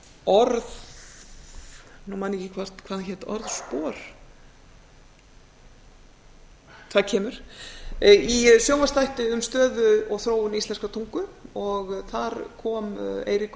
orð nú man ég ekki hvað hann hét orðspor það kemur í sjónvarpsþætti um stöðu og þróun íslenskrar tungu og þar kom eiríkur